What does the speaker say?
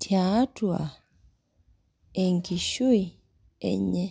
tiatua enkishui enye.